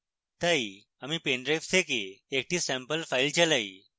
তাই আমি pen drive থেকে একটি স্যাম্পল file চালাই